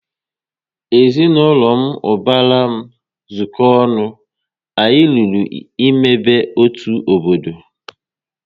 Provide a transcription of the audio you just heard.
Ezinaụlọ ubara m zuko ọnụ, anyị lụrụ ịmebe otu obodo